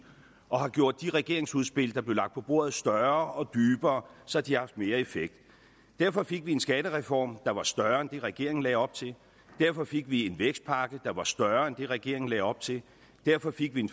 og har gjort de regeringsudspil der blev lagt på bordet større og dybere så de har haft mere effekt derfor fik vi en skattereform der var større end det regeringen lagde op til derfor fik vi en vækstpakke der var større end det regeringen lagde op til derfor fik vi en